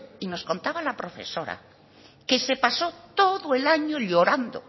y nos contaba la profesora que se pasó todo el año llorando